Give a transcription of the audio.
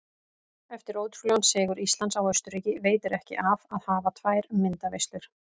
Eftir ótrúlegan sigur Íslands á Austurríki veitir ekki af að hafa tvær myndaveislur.